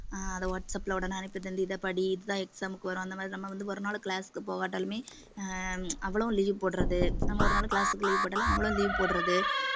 ஆஹ் அதை வாட்ஸப்ல உடனே அனுப்பி இதைப்படி இதுதான் exam க்கு வரும் அந்த மாதிரி நம்ம வந்து ஒரு நாள் class க்கு போகாட்டாலுமே அவளும் leave போடுறது நம்ம ஒரு நாள் class க்கு leave போட்டாலும் அவளும் leave போடுறது